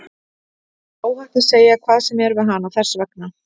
Þér er óhætt að segja hvað sem er við hana, þess vegna.